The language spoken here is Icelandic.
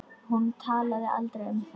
Hún talaði aldrei um það.